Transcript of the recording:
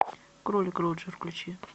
кролик роджер включи